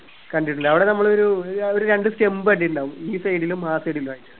കണ്ടിട്ടുണ്ട് അവിടെ നമ്മളൊരു ഒരു രണ്ട് stump കണ്ടിട്ടുണ്ടാവും ഈ side ലും ആ side ലു ആയിട്ട്